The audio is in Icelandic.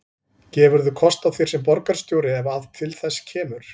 Gefurðu kost á þér sem borgarstjóri ef að til þess kemur?